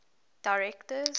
directors